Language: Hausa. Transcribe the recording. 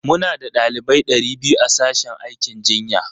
Muna da ɗalibai ɗari biyu a sashen aikin jinya.